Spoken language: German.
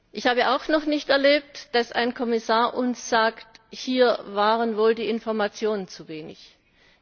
Ich habe auch noch nicht erlebt, dass ein Kommissar uns sagt Hier waren wohl die Informationen nicht ausreichend.